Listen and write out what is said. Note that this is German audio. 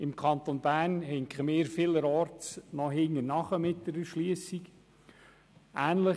Im Kanton Bern hinken wir vielerorts mit der Erschliessung noch hinterher.